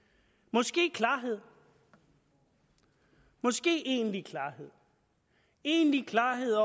måske klarhed måske egentlig klarhed egentlig klarhed